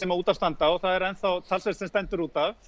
út af standa og það er enn þá talsvert sem stendur út af